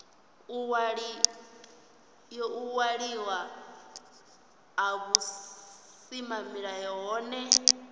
u waliwa ha vhusimamilayo hohe